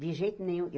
De jeito nenhum.